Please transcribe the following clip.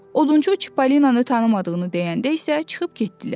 Odunçu Çippolinanı tanımadığını deyəndə isə çıxıb getdilər.